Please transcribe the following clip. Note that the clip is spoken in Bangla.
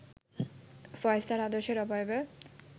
ফয়েজ তাঁর আদর্শের অবয়বে